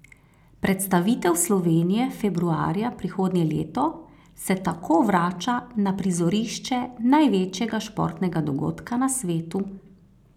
Predstavitev Slovenije februarja prihodnje leto se tako vrača na prizorišče največjega športnega dogodka na svetu.